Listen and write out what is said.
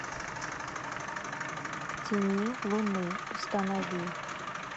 в тени луны установи